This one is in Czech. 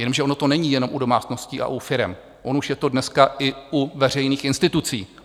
Jenomže ono to není jenom u domácností a u firem, ono už je to dneska i u veřejných institucí.